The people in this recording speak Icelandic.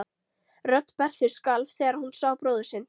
Rödd Berthu skalf þegar hún sá bróður sinn.